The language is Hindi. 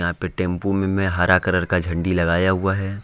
यहां पर टेंपो में हरा कलर का झंडा लगाया हुआ हे।